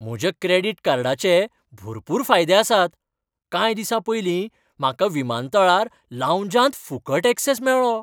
म्हज्या क्रॅडिट कार्डाचें भरपूर फायदे आसात. कांय दिसां पयलीं म्हाका विमानतळार लावंजांत फुकट ऍक्सॅस मेळ्ळो.